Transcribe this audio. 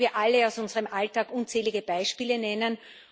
Da können wir alle aus unserem Alltag unzählige Beispiele nennen.